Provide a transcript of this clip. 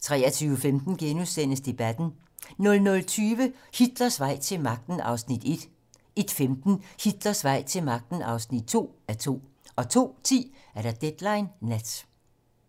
23:15: Debatten * 00:20: Hitlers vej til magten (1:2) 01:15: Hitlers vej til magten (2:2) 02:10: Deadline nat